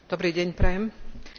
Ďakujem za slovo.